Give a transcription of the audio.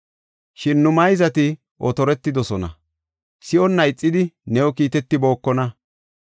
Shin nu mayzati otortidosona; si7onna ixidi new kiitetibookona.